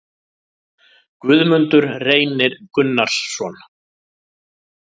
Guðmundur Reynir Gunnarsson